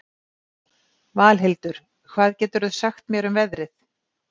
Valhildur, hvað geturðu sagt mér um veðrið?